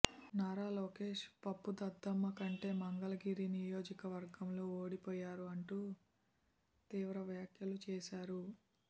నారా లోకేష్ పప్పు దద్దమ్మ కాబట్టే మంగళగిరి నియోజకవర్గంలో ఓడిపోయారు అంటూ తీవ్ర వ్యాఖ్యలు చేశారు